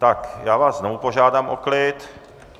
Tak já vás znovu požádám o klid.